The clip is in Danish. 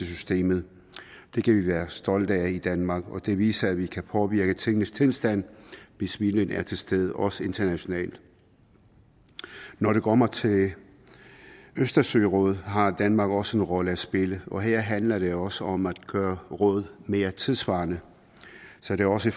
systemet det kan vi være stolte af i danmark og det viser at vi kan påvirke tingenes tilstand hvis viljen er til stede også internationalt når det kommer til østersørådet har danmark også en rolle at spille og her handler det også om at gøre rådet mere tidssvarende så det også